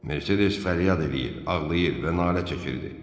Mercedes fəryad eləyir, ağlayır və nalə çəkirdi.